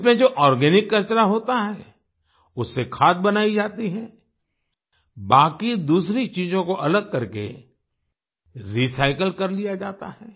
इसमें जो आर्गेनिक कचरा होता है उससे खाद बनाई जाती है बाकी दूसरी चीजों को अलग करके रिसाइकिल कर लिया जाता है